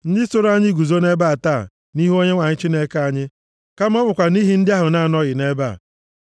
ndị soro anyị guzo nʼebe a taa, nʼihu Onyenwe anyị Chineke anyị, kama ọ bụkwa nʼihi ndị ahụ na-anọghị nʼebe a.